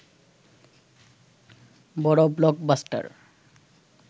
বড় ব্লকবাস্টার